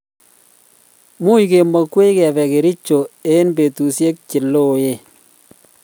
much kemakwech kebe kericho eng betushek che lolong